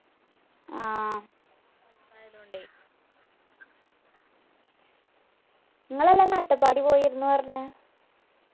ആഹ് നിങ്ങളല്ലേ അന്ന് അട്ടപ്പാടി പോയിരുന്നു പറഞ്ഞെ